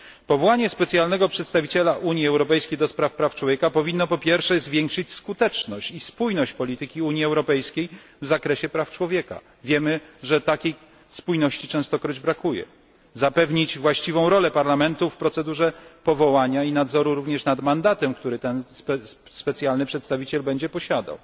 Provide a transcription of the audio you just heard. Powołanie specjalnego przedstawiciela Unii Europejskiej do spraw praw człowieka powinno przede wszystkim zwiększyć skuteczność i spójność polityki Unii Europejskiej w zakresie praw człowieka wiemy, że takiej spójności częstokroć brakuje zapewnić właściwą rolę Parlamentu w procedurze powołania przedstawiciela i nadzoru nad mandatem, który ten specjalny przedstawiciel będzie posiadał.